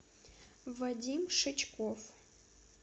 вадим шичков